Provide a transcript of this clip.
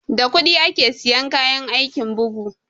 Da kuɗi ake siyan kayan aikin bugu